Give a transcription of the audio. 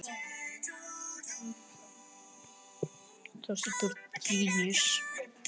Hvernig fannst þér spilamennskan ykkar vera gegn Fylki síðasta þriðjudag?